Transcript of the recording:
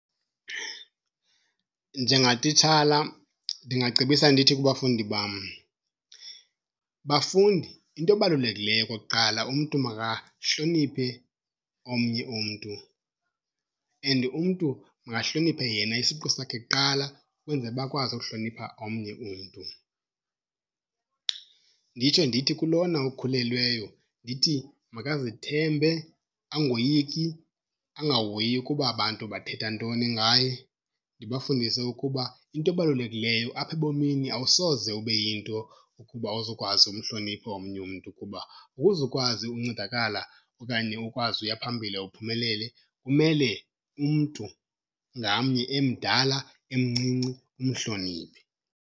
Njengatitshala ndingacebisa ndithi kubafundi bam, bafundi into ebalulekileyo okokuqala umntu mahloniphe omnye umntu and umntu makahloniphe yena isiqu sakhe kuqala ukwenzela uba akwazi uhlonipha omnye umntu. Nditsho ndithi kulona ukhulelweyo ndithi makazithembe, angoyiki, angahoyi ukuba abantu bathetha ntoni ngaye. Ndibafundise ukuba into ebalulekileyo apha ebomini awusoze ube yinto ukuba awuzukwazi umhlonipha omnye umntu, kuba ukuze ukwazi uncedakala okanye ukwazi ukuya phambili uphumelele kumele umntu ngamnye emdala emncinci umhloniphe.